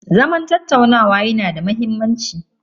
Zaman tattaunawa yanada muhimmanci.